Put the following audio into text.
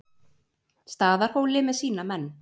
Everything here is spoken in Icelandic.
Staðarhóli með sína menn.